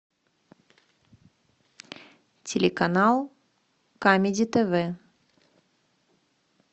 телеканал камеди тв